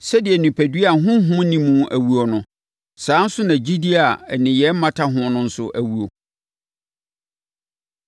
Sɛdeɛ onipadua a honhom nni mu awuo no, saa ara nso na gyidie a nneyɛeɛ mmata ho no nso awuo.